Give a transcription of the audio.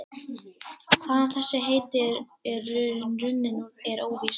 Hvaðan þessi heiti eru runnin er óvíst.